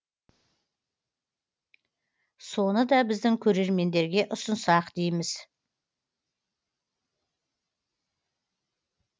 соны да біздің көрермендерге ұсынсақ дейміз